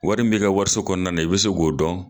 Wari min bi ka wariso kɔnɔna, i bi se k'o dɔn